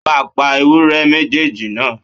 Ó máa pa ewúré méjèèjì náà.!